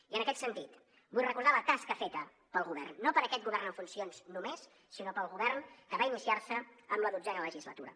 i en aquest sentit vull recordar la tasca feta pel govern no per aquest govern en funcions només sinó pel govern que va iniciar se en la dotzena legislatura